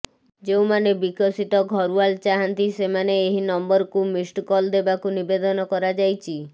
ଯେଉଁମାନେ ବିକଶିତ ଘରୱାଲ ଚାହାନ୍ତି ସେମାନେ ଏହି ନମ୍ବରକୁ ମିସ୍ଡ କଲ ଦେବାକୁ ନିବେଦନ କରାଯାଇଚି